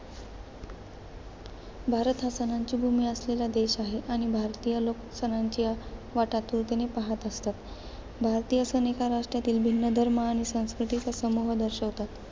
भारत हा सणांची भूमी असलेला देश आहे आणि भारतीय लोक सणांची वाट आतुरतेने पाहत असतात. भारतीय सण एका राष्ट्रातील भिन्न धर्म आणि संस्कृतींचा समूह दर्शवितात.